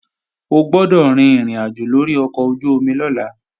O gbọ́dọ̀ rin ìrìnàjò lórí ọkọ̀ ojú-omi lọ́la!